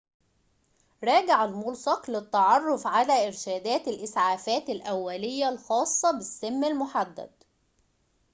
راجع الملصق للتعرف على إرشادات الإسعافات الأولية الخاصة بالسم المحدد